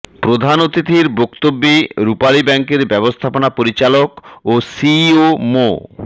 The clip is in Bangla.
প্রধান অতিথির বক্তব্যে রূপালী ব্যাংকের ব্যবস্থাপনা পরিচালক ও সিইও মো